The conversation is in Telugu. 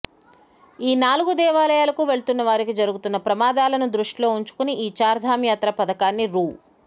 ఈ నాలుగు దేవాలయాలకు వెళ్తున్న వారికి జరుగుతున్న ప్రమాదాలను దృష్టిలో ఉంచుకుని ఈ చార్థమ్ యాత్ర పథకాన్ని రూ